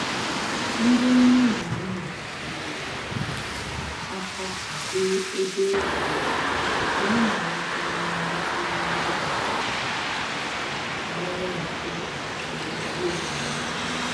Ndị nne na nna nyere um aka kwado ebe egwuregwu ka ụmụaka nwee ntụgharị nke nwere nchekwa na ezi omume